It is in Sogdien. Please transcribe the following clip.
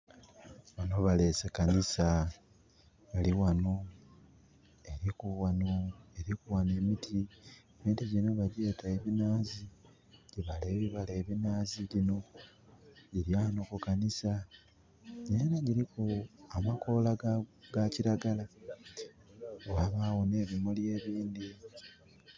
Wano balese kanisa eriwano eriku wano emiti. Emiti gino bagyeta eminaazi, gyibaala ebibala ebinaazi gino. Giriwano ku kanisa nera giriku amakoola ga kiragala wabawo ne bimuli ebindhi